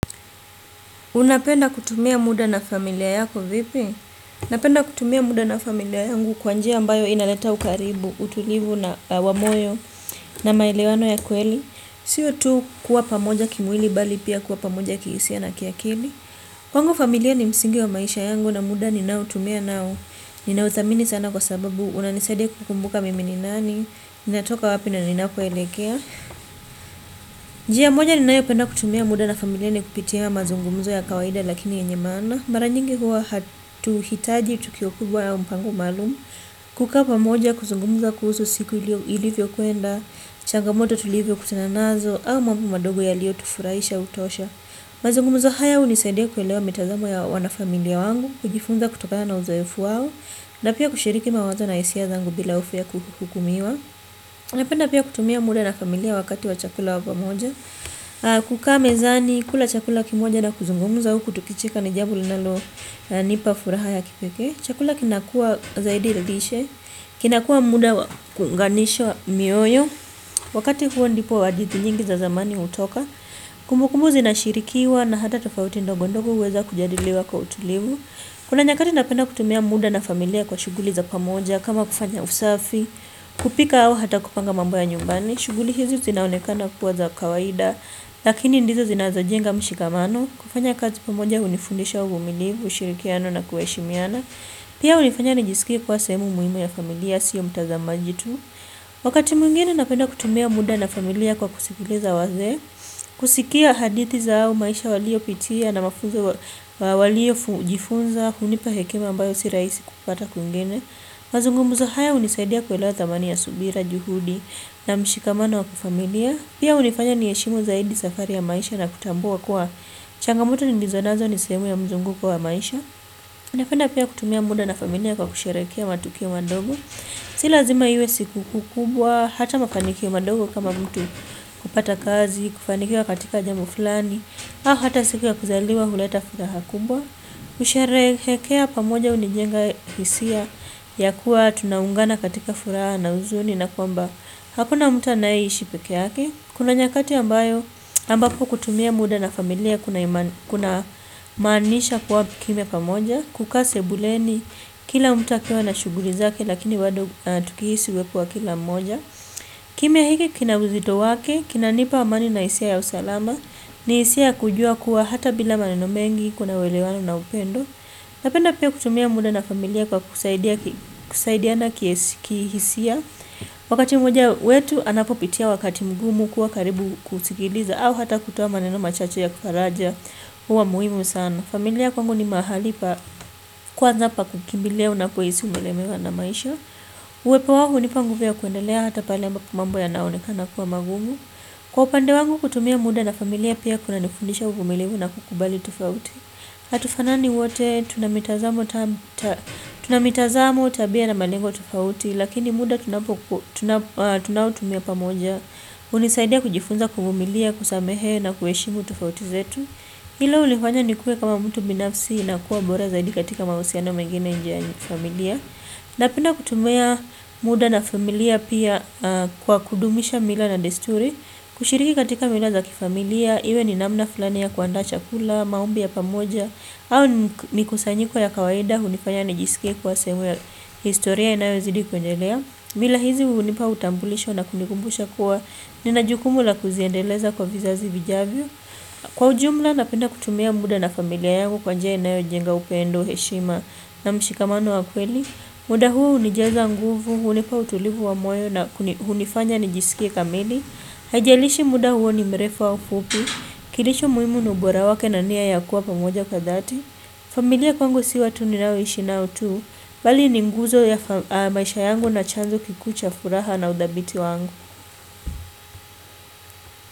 Unapenda kutumia muda na familia yako vipi? Napenda kutumia muda na familia yangu kwa njia ambayo inaleta ukaribu, utulivu na wa moyo na maelewano ya kweli. Sio tu kuwa pamoja kimwili bali pia kuwa pamoja kihisia na kiakili. Kwangu familia ni msingi wa maisha yangu na muda ninao tumia nao. Ninawathamini sana kwa sababu wananisadia kukumbuka mimi ni nani. Ninatoka wapi ninapo elekea. Njia moja ninayo penda kutumia muda na familia ni kupitia mazungumzo ya kawaida lakini yenye maana. Mara nyingi huwa hatuhitaji tukio kubwa ya mpango maalumu. Kukaa pamoja kuzungumza kuhusu siku ilivyokuenda. Changamoto tulivyo kutananazo au mambo madogo yaliyo tufuraisha hutosha. Mazungumzo haya hunisaidia kuelewa mitazamo ya wanafamilia wangu. Kujifunza kutokana na uzoefu wao na pia kushiriki mawazo na hisia zangu bila hofu ya kuhukumiwa. Napenda pia kutumia muda na familia wakati wa chakula wa pamoja. Kukaa mezani kula chakula kimoja na kuzungumuza huku tukicheka ni jambo linalo nipa furaha ya kipekee. Chakula kinakuwa zaidi ya lishe. Kinakuwa muda wa kuunganishwa mioyo. Wakati huo ndipo hadithi nyingi za zamani hutoka. Kumbukumbu zinashirikiwa na hata tofauti ndogo ndogo huweza kujadiliwa kwa utulivu kuna nyakati napenda kutumia muda na familia kwa shughuli za pamoja kama kufanya usafi, kupika au hata kupanga mambo ya nyumbani shughuli hizi zinaonekana kuwa za kawaida. Mazungumzo haya unisaidia kuelewa mitazamo ya wanafamilia wangu. Kujifunza kutokaya na uzoefu wawo napia kushiriki mawazo na isia zangu bila ufea kukukumiwa pia hunifanya nijisikie kwa sehemu muhimu ya familia sio mtazamaji tu wakati mwingine napenda kutumia muda na familia kwa kusikiliza wazee kusikia hadithi zao, maisha waliyopitia na mafunzo waliojifunza hunipa hekima ambayo si rahisi kupata kwingine. Mazungumzo haya hunisaidia kuelewa thamani ya subira juhudi na mshikamano wa kwa familia. Pia hunifanya niheshimu zaidi safari ya maisha na kutambua kuwa changamoto nilizonazo ni sehemu ya mzunguko wa maisha napenda pia kutumia muda na familia kwa kusherehekea matukio madogo. Si lazima iwe siku kuu kubwa, hata mafanikio madogo kama mtu kupata kazi, kufanikiwa katika jambo fulani au hata siku ya kuzaliwa huleta furaha kubwa kusherehekea pamoja hunijenga hisia ya kuwa tunaungana katika furaha na huzuni na kwamba hakuna mtu anayeishi pekee yake. Kuna nyakati ambayo ambapo kutumia muda na familia kunamaanisha kuwa kimya pamoja kukaa sebuleni kila akiwa na shughuli zake lakini bado tukihisi uwepo wa kila mmoja kimya hiki kina uzito wake kinanipa amani na hisia ya usalama. Ni hisia ya kujua kuwa hata bila maneno mengi kuna uwelewano na upendo. Napenda pia kutumia muda na familia kwa kusaidiana kihisia. Wakati mmoja wetu anapopitia wakati mgumu kuwa karibu kusikiliza au hata kutoa maneno machache ya kufaraja huwa muhimu sana. Familia kwangu ni mahali pa kwanza pa kukimbilia unapohisi umelemewa na maisha. Uwepo wangu hunipa nguvu ya kuendelea hata pale mambo yanaonekana kuwa magumu. Kwa upande wangu kutumia muda na familia pia kunanifundisha uvumilimu na kukubali tofauti. Hatufanani wote tuna mitazamo tabia na malengo tofauti lakini muda tunautumia pamoja. Hunisaidia kujifunza kuvumilia, kusamehe na kuheshimu tofauti zetu. Hilo hunifanya nikuwe kama mtu binafsi na kuwa bora zaidi katika mahusiano mengine nje ya familia. Napenda kutumia muda na familia pia kwa kudumisha mila na desturi. Kushiriki katika mila za kifamilia iwe ni namna fulani ya kuandaa chakula, maombi ya pamoja au mikusanyiko ya kawaida hunifanya nijisike kuwa sehemu ya historia inayozidi kuendelea. Mila hizi hunipa utambulisho na kunikumbusha kuwa nina jukumu la kuziendeleza kwa vizazi vijavyo. Kwa ujumla napenda kutumia muda na familia yangu kwa njia inayo jenga upendo heshima na mshikamano wa kweli. Muda huo hunijaza nguvu hunipa utulivu wa moyo na hunifanya nijisikie kamili. Haijalishi muda huo ni mrefu wa fupi. Kilicho muhimu ni ubora wake na nia ya kuwa pamoja kwa dhati. Familia kwangu si watu ninaoishi nao tu bali ni nguzo ya maisha yangu na chanzo kikuu cha furaha na udhabiti wangu.